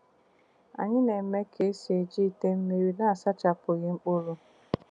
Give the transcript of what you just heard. Anyị na-eme ka esi eji ite mmiri na-asachapụghị mkpụrụ.